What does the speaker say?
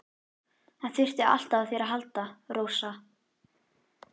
Hann þurfti alltaf á þér að halda, Rósa.